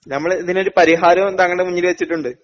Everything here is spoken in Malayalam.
ഞമ്മളിതിനൊരു പരിഹാരം താങ്കളുടെ മുന്നില് വെച്ചിട്ടുണ്ട്.